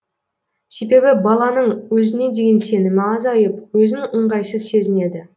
себебі баланың өзіне деген сенімі азайып өзін ыңғайсыз сезінеді